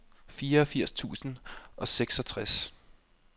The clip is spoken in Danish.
fireogfirs tusind og seksogtres